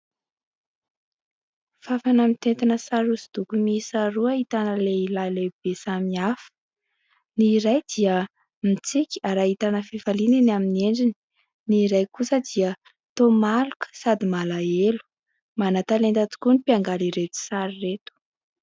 Fafana mitentina sary hosodoko miisa roa ahitana lehilahy lehibe samy hafa. Ny iray dia mitsiky ary ahitana fifaliana eny amin'ny endriny, ny iray kosa dia toa maloka sady malahelo. Manan-talenta tokoa ny mpiangaly ireto sary ireto.